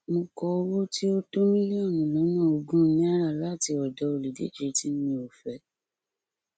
mo kọ owó tí ó tó mílíọnù lọnà ogún náírà láti ọdọ olùdíje tí mi ò fẹ